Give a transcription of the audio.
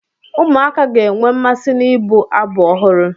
Ụmụaka ga-enwe mmasị n'ịbụ abụ ọhụrụ.